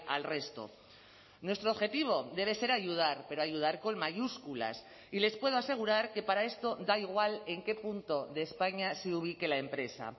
al resto nuestro objetivo debe ser ayudar pero ayudar con mayúsculas y les puedo asegurar que para esto da igual en qué punto de españa se ubique la empresa